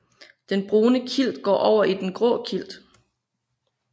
Den brune klit går over i den grå klit